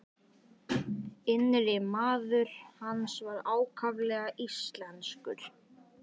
Innri maður hans var ákaflega íslenskur.